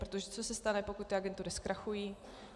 Protože co se stane, pokud ty agentury zkrachují?